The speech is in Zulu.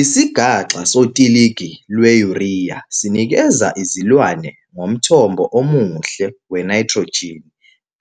Isigaxa sotiligi lwe-urea sinikeza izilwane ngomthombo omuhle wenayithrojini